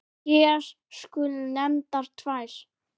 Hér skulu nefndar tvær.